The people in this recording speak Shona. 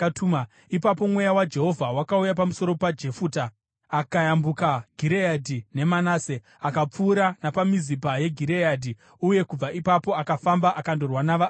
Ipapo Mweya waJehovha wakauya pamusoro paJefuta. Akayambuka Gireadhi neManase, akapfuura napaMizipa yeGireadhi, uye kubva ipapo akafamba akandorwa navaAmoni.